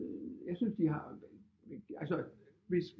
Jeg synes de har altså hvis